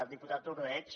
diputat ordeig